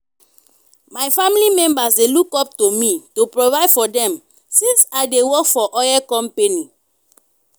my family members dey look up to me to provide for them since i dey work for oil company.